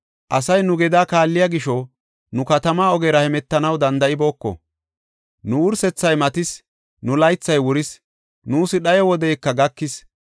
Asay nu gedaa kaalliya gisho, nu katama ogera hemetanaw danda7ibooko. Nu wursethay matis; nu laythay wuris; nuus dhayo wodeyka gakis.